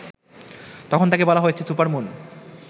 তখন তাকে বলা হচ্ছে সুপারমুন